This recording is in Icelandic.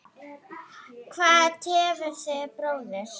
Hvað tefur þig bróðir?